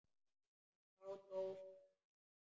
En þá dó fóstra.